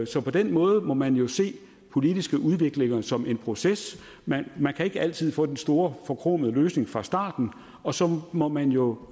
så på den måde må man jo se politiske udviklinger som en proces man man kan ikke altid få den store forkromede løsning fra starten og så må man jo